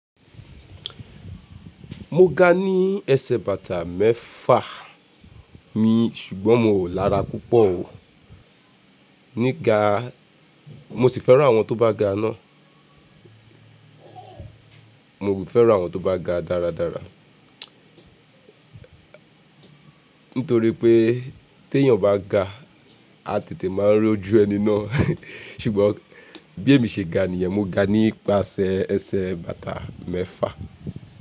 Mo ga ní ẹsẹ̀ bàtà mẹ́fà mi ṣùgbọ́n mi ò lára púpọ̀ o. Níga mo sì fẹ́ran àwọn tó bá ga náà. Mo ò ì fẹ́ran àwọn tó bá ga dáradára. Nítorí pé tí èèyàn bá ga, a tètè máa n r'ọ́jú ẹni náà. Ṣùgbọ́n bí èmi ṣe ga nìyẹn, mo ga nípasẹ̀ ẹsẹ̀ bàtà mẹ́fà.